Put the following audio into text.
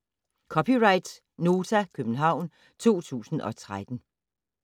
(c) Nota, København 2013